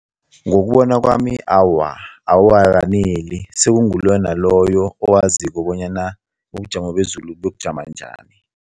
Ngokubona kwami, awa, awakaneli. Sekunguloyo naloyo owaziko bonyana ubujamo bezulu buyokujama njani.